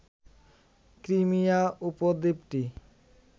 Crimea উপদ্বীপটি